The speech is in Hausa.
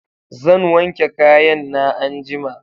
Zan wanke kayan na anjima